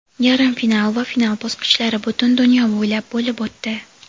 yarim final va final bosqichlari butun dunyo bo‘ylab bo‘lib o‘tdi.